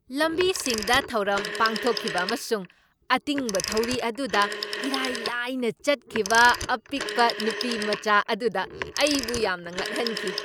ꯂꯝꯕꯤꯁꯤꯡꯗ ꯊꯧꯔꯝ ꯄꯥꯡꯊꯣꯛꯈꯤꯕ ꯑꯃꯁꯨꯡ ꯑꯇꯤꯡꯕ ꯊꯧꯔꯤ ꯑꯗꯨꯗ ꯏꯔꯥꯏ ꯂꯥꯏꯅ ꯆꯠꯈꯤꯕ ꯑꯄꯤꯛꯄ ꯅꯨꯄꯤꯃꯆꯥ ꯑꯗꯨꯗ ꯑꯩꯕꯨ ꯌꯥꯝꯅ ꯉꯛꯍꯟꯈꯤ꯫